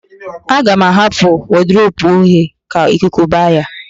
Aga m ahapụ wọdụrobu oghe ka ikuku ba ya